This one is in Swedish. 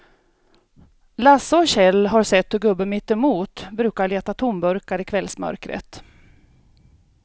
Lasse och Kjell har sett hur gubben mittemot brukar leta tomburkar i kvällsmörkret.